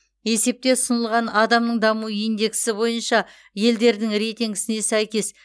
есепте ұсынылған адамның даму индексі бойынша елдердің рейтингісіне сәйкес